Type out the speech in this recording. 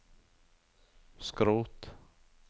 skrot